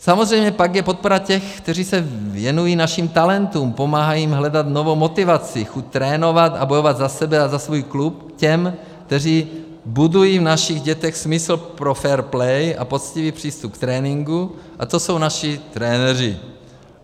Samozřejmě, pak je podpora těch, kteří se věnují našim talentům, pomáhají jim hledat novou motivaci, chuť trénovat a bojovat za sebe a za svůj klub, těch, kteří budují v našich dětech smysl pro fair play a poctivý přístup k tréninku, a to jsou naši trenéři.